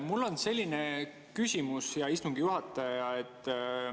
Mul on selline küsimus, hea istungi juhataja.